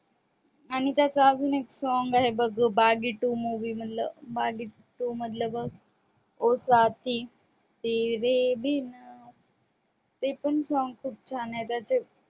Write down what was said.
आणि त्याचा अजून एक song आहे बघ बाघी Two movie मधल बघ ओ साथी तेरे बिना ते पण song खूप छान आहे त्याच